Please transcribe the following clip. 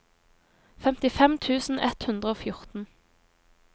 femtifem tusen ett hundre og fjorten